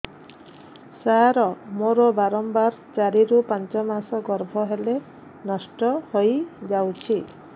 ସାର ମୋର ବାରମ୍ବାର ଚାରି ରୁ ପାଞ୍ଚ ମାସ ଗର୍ଭ ହେଲେ ନଷ୍ଟ ହଇଯାଉଛି